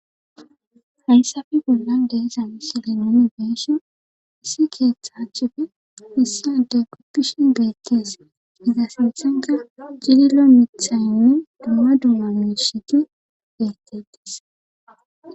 Hayssabi gollan deesa misili nonibeesho issi keeththa achipfe missi ade koppishi beekkees iza sinthenka gililo mithayynne dumma duma meshiti beeketees.